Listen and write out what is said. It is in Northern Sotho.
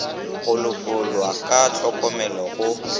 go lekolwa ka hlokomelo go